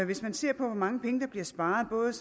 hvis man ser på hvor mange penge der bliver sparet både